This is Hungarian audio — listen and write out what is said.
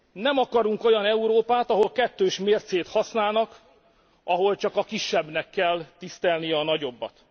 Nem akarunk olyan Európát, ahol kettős mércét használnak, ahol csak a kisebbnek kell tisztelnie a nagyobbat!